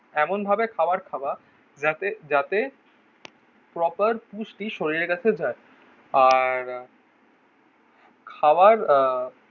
এমন ভাবে খাবার খাওয়া যাতে যাতে প্রপার পুষ্টি শরীরের কাছে যায় আর খাবার আহ